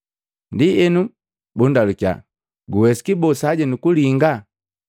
Ndienu bundalukiya, “Guwesiki boo, sajenu kulinga?”